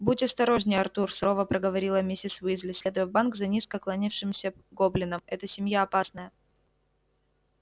будь осторожнее артур сурово проговорила миссис уизли следуя в банк за низко кланявшимся гоблином эта семья опасная